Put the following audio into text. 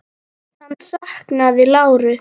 Hann saknaði láru.